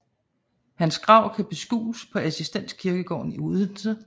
Hans grav kan beskues på Assistens kirkegård i Odense